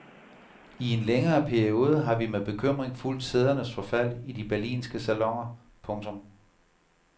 I en længere periode har vi med bekymring fulgt sædernes forfald i de berlinske saloner. punktum